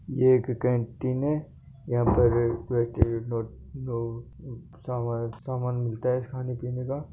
ये एक केंटिन है यहा पर पे सामान मिलता है खाने पिने का--